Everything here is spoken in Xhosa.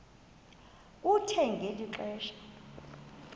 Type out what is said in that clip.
kuthe ngeli xesha